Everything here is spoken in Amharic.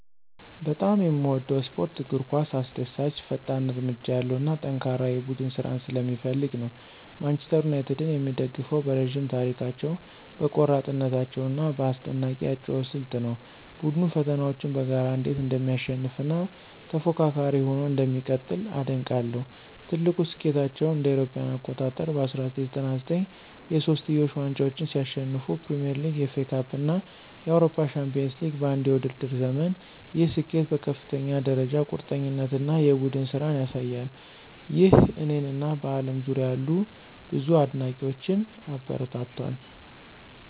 በጣም የምወደው ስፖርት እግር ኳስ አስደሳች፣ ፈጣን እርምጃ ያለው እና ጠንካራ የቡድን ስራን ስለሚፈልግ ነው። ማንቸስተር ዩናይትድን የምደግፈው በረዥም ታሪካቸው፣ በቆራጥነታቸው እና በአስደናቂ የአጨዋወት ስልት ነው። ቡድኑ ፈተናዎችን በጋራ እንዴት እንደሚያሸንፍ እና ተፎካካሪ ሆኖ እንደሚቀጥል አደንቃለሁ። ትልቁ ስኬታቸው እ.ኤ.አ. በ1999 የሶስትዮሽ ዋንጫን ሲያሸንፉ ፕሪሚየር ሊግ፣ ኤፍኤ ካፕ እና የአውሮፓ ቻምፒዮንስ ሊግ በአንድ የውድድር ዘመን፣ ይህ ስኬት በከፍተኛ ደረጃ ቁርጠኝነት እና የቡድን ስራን ያሳያል። ይህ እኔን እና በአለም ዙሪያ ያሉ ብዙ አድናቂዎችን አበረታቷል